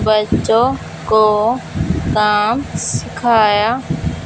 बच्चों को काम सिखाया--